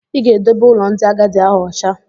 Ị ga-edobe ụlọ ndị agadi ahụ ụcha!